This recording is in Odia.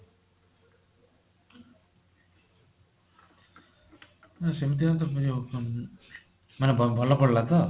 ନାଇଁ ସେମିତି ବି ତ ear phone ମାନେ ଆପଣଙ୍କର ଭଲ ପଡିଲା ତ